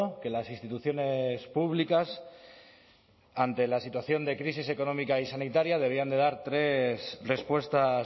que las instituciones públicas ante la situación de crisis económica y sanitaria deberían de dar tres respuestas